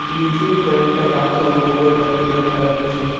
নীচে কয়েকটা পাথর পড়ে থাকতে দেখা যাচ্ছে।